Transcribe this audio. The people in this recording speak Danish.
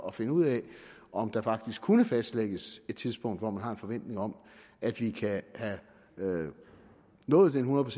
at finde ud af om der faktisk kunne fastlægges et tidspunkt hvor man har en forventning om at vi kan have nået den hundrede